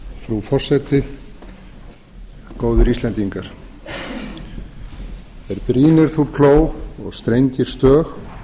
frú forseti góðir íslendingar ef brýnir þú plóg og strengir stög og